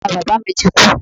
Bàba bàbá mi ti kú.